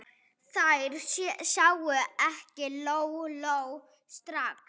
Þær sáu ekki Lóu-Lóu strax.